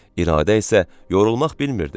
İradə isə yorulmaq bilmirdi.